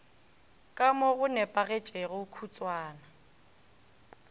ka mo go nepagetšego kutšwana